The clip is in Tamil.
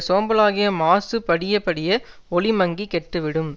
சோம்பலாகிய மாசு படிய படிய ஒளி மங்கிக் கெட்டுவிடும்